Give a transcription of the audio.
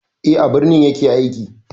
Eh, a birni ya ke aiki.